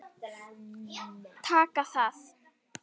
Taka það?